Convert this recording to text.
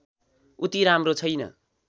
उति राम्रो छैन